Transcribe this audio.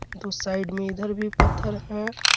दो साइड में इधर भी पत्थर है।